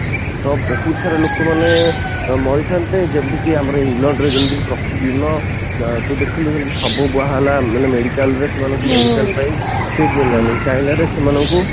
ତ ବହୁତ ସାରା ଲୋକ ମାନେ ମରିଥାନ୍ତେ ଯେମିତି କି ଆମର ଇଂଲଣ୍ଡ ରେ ଯେମିତି ପ୍ରତିଦିନ ତୁ ଦେଖିଲୁ ଯେମିତି ସବୁ ବୁହାହେଲା ମାନେ ମେଡିକାଲ ରେ ସେମାନଙ୍କୁ ମେଡିକାଲ ପାଇଁ ସିଟ ମିଳିଲାନି ଚାଇନାରେ ସେମାନଙ୍କୁ